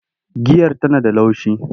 Giyar Tana da laushi.